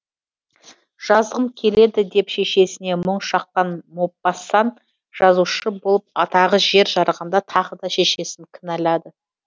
жазғым келеді деп шешесіне мұң шаққан мопассан жазушы болып атағы жер жарғанда тағы да шешесін кінәлады